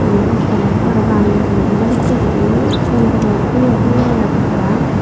iben iskul obo para pang mujugedi balukko guri sigon guro tige tige agon tara.